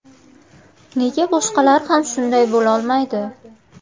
Nega boshqalar ham shunday bo‘lolmaydi?!